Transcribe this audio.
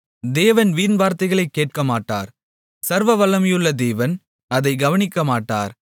தேவன் வீண்வார்த்தைகளைக் கேட்கமாட்டார் சர்வவல்லமையுள்ள தேவன் அதைக் கவனிக்கமாட்டார்